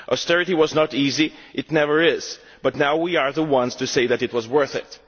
Austerity was not easy, it never is, but now we are the ones to say that it was worth it.